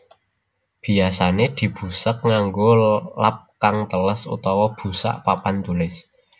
Biyasané dibusek nganggo lap kang teles utawa busak papan tulis